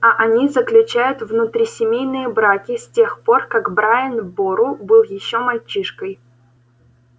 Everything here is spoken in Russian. а они заключают внутрисемейные браки с тех пор как брайан бору был ещё мальчишкой